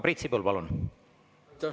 Priit Sibul, palun!